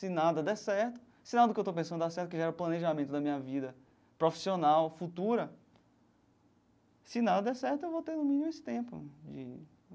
Se nada der certo se nada do que eu estou pensando dar certo, que gera o planejamento da minha vida profissional, futura, se nada der certo, eu vou ter no mínimo esse tempo de.